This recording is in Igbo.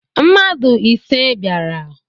Mmadu ise biara